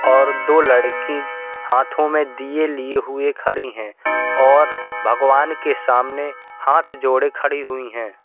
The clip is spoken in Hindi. और दो लड़की हाथों में दिये लिये हुए खड़ी है और भगवान के सामने हाथ जोड़े खड़ी हुई हैं।